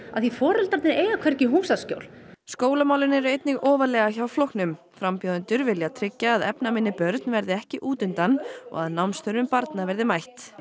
af því foreldrar þeirra eiga hvergi húsaskjól skólamálin eru einnig ofarlega hjá flokknum frambjóðendur vilja tryggja að efnaminni börn verði ekki út undan og að námsþörfum barna verði mætt